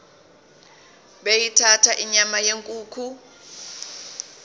beyithanda inyama yenkukhu